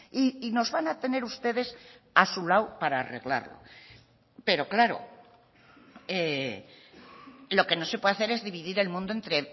y nos van a tener ustedes a su lado para arreglarlo pero claro lo que no se puede hacer es dividir el mundo entre